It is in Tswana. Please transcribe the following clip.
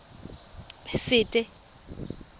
sete